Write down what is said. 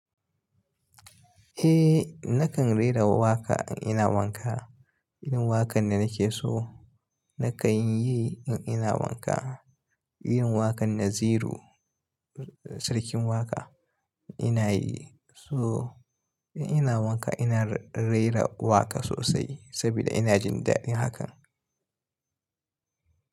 Eh nakan rera wa waƙa in ina wanka. Irin waƙan da nake so nakan yi in ina wanka. Irin waƙan Naziru Sarkin Waƙa ina yi. So in ina wanka ina rera waƙar sosai saboda ina jin daɗin hakan.